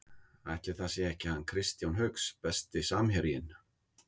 Ætli það sé ekki hann Kristján Hauks Besti samherjinn?